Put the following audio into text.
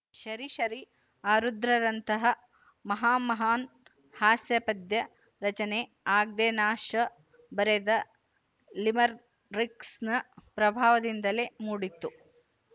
ಶರೀ ಶರೀ ಆರುದ್ರರಂತಹ ಮಹಾಮಹಾನ್ ಹಾಸ್ಯ ಪದ್ಯ ರಚನೆ ಆಗ್ಡೆನ್ನಾಶ ಬರೆದ ಲಿಮರಿಕ್ಸ್‍ನ ಪ್ರಭಾವದಿಂದಲೇ ಮೂಡಿತ್ತು